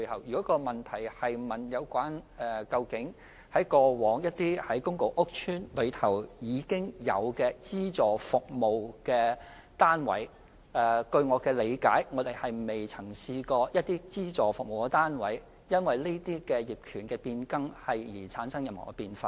如果問題是關於公共屋邨內原有的資助服務單位，據我理解，過往不曾有資助服務單位因為上述的業權變更而出現變化。